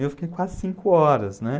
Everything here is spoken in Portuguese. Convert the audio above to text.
E eu fiquei quase cinco horas, né?